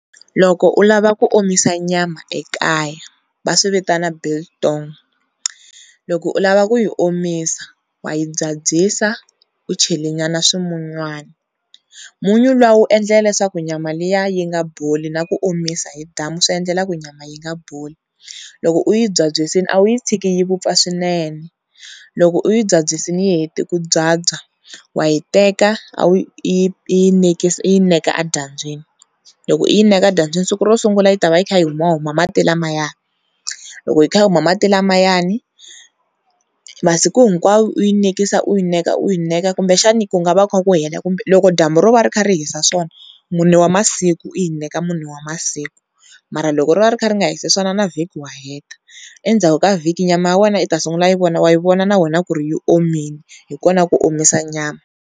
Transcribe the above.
Loko u lava ku omisa nyama ekaya va swi vitana biltong, loko u lava ku yi omisa wa yi byabyisa u chele nyana swimunywana, munyu luwa wu endla leswaku nyama liya yi nga boli na ku omisa hi dyambu swi endlela ku ri nyama yi nga boli. Loko u yi byabyisile a wu yi tshiki yi vupfa swinene, loko u yi nbyabyisile yi hete ku byabya wa yi teka u yi u yi neka edyambyini, loko u yi neka edyambyini siku ro sungula yi ta va yi kha yi humahuma mali lamaya, loko yi kha yi huma mati lamayani masiku hinkwawo u yi u yi neka u yi neka kumbe xana ku nga va ku kha ku hela loko dyambu ro va ri kha ri hisa swona mune wa masiku u yi neka mune wa masiku, mara loko ro va ri kha ri nga hisi swona na vhiki wa heta. Endzhaku ka vhiki nyama ya wena u ta sungula i yi wa yi vona na wena ku ri yi omile. Hi kona ku omisa nyama.